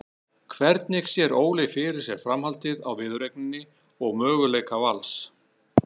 Hvernig sér Óli fyrir sér framhaldið á viðureigninni og möguleika Vals?